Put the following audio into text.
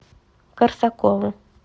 корсакову